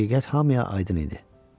Həqiqət hamıya aydın idi.